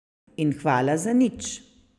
In hvala za nič.